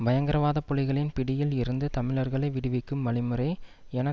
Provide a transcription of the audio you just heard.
பயங்கரவாத புலிகளின் பிடியில் இருந்து தமிழர்களை விடுவிக்கும் வழிமுறை என